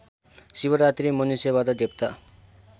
शिवरात्रि मनुष्यबाट देवता